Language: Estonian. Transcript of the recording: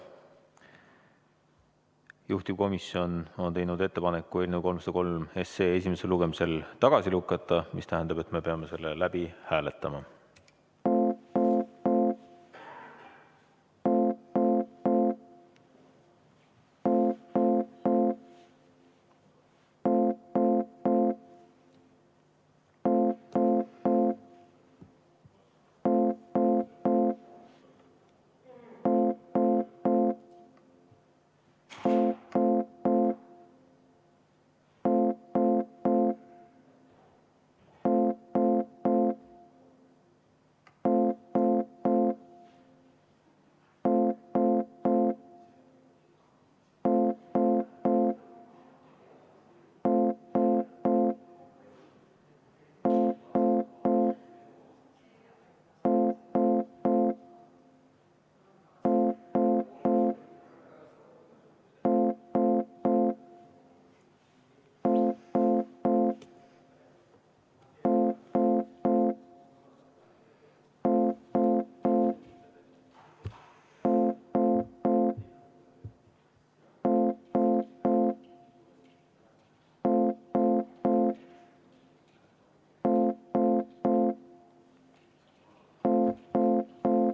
Juhtivkomisjon on teinud ettepaneku eelnõu 303 esimesel lugemisel tagasi lükata, mis tähendab, et me peame seda hääletama.